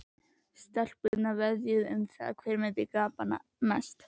Stelpurnar veðjuðu um það hver myndi gapa mest.